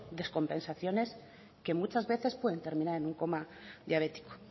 descompensaciones que muchas veces pueden terminar en un coma diabético